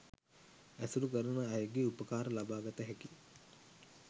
ඇසුරු කරන අයගේ උපකාර ලබාගත හැකි